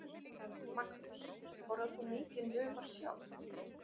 Magnús: Borðar þú mikinn humar sjálf?